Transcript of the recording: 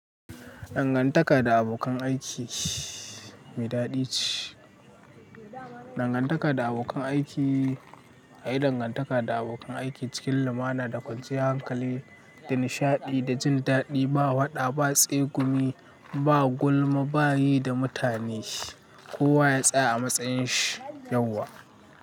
Dangantaka da abokan aiki mai daɗi ce. Dangantaka da abokan aiki, haɗa dangantaka da abokan aiki cikin lumana da kwanciyar hankali da nishaɗi da jin daɗi ba waɗa, ba tsegumi, ba gulma, ba yi da mutane kowa ya tsaya a matsayin shi yauwa.